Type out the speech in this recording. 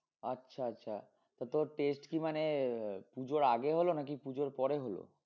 আচ্ছা আচ্ছা তো তোর test কি মানে আহ পুজোর আগে হলো নাকি পুজোর পরে হলো?